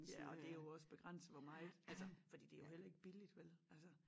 Ja og det jo også begrænset for meget altså fordi det jo heller ikke billigt vel altså